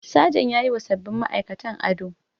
Sajan yayiwa sabbin ma'aikatan ado.